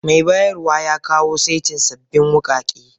Mai bayarwa, ya kawo saitin sabbin wukake.